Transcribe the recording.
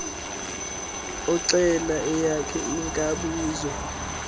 oxhela eyakhe akabuzwa